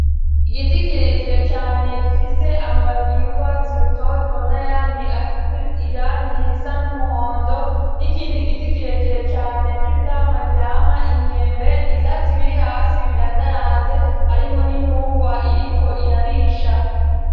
igiti kirekire cane gifise amababi y’ urwatsi rutoto nayandi afite irangi risa n'umuhondo n'ikindi giti kirekire cane c'ivyamwa byamwa imyembe ivyatsi biri hasi birandaranze harimwo n'intungwa iriko irarisha